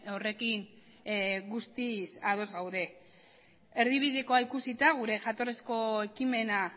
horrekin guztiz ados gaude erdibidekoa ikusita gure jatorrizko ekimena